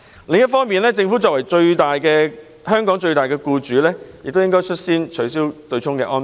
另一方面，政府作為香港最大僱主，應率先取消對沖安排。